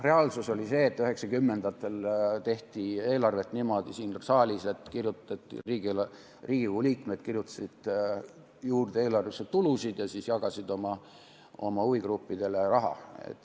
Reaalsus oli see, et 1990-ndatel tehti eelarvet siin saalis niimoodi, et Riigikogu liikmed kirjutasid eelarvesse juurde tulusid ja siis jagasid oma huvigruppidele raha.